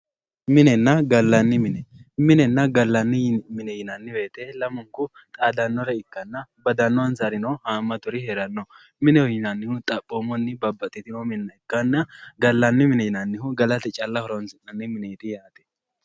Minenna gallanni mine ,minenna gallanni mine yinnanni woyte lamunku xaadanore ikkanna badanonsarino hamaturi heerano, mineho yinnannihu xaphomunni babbaxitino minna ikkanna gallanni mine yinnannihu gallate calla horonsi'nanni mineti yaate.